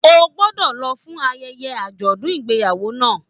O gbọdọ lọ fún ayẹyẹ ajọdun ìgbéyàwó náà!